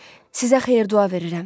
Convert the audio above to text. Sizə xeyir-dua verirəm.